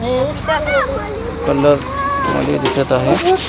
Colour मध्ये दिसत आहे.